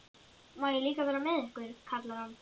Má ég líka vera með ykkur? kallar hann.